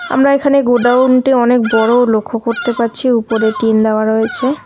আমরা এখানে গোডাউন -টি অনেক বড় লক্ষ করতে পারছি উপরে টিন দাওয়া রয়েছে।